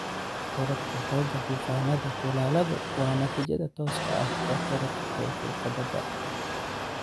Korodhka xoogga duufaannada kulaaladu waa natiijada tooska ah ee kororka heerkulka badda.